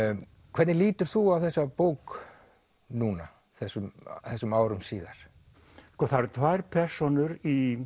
hvernig lítur þú á þessa bók núna þessum þessum árum síðar það eru tvær persónur í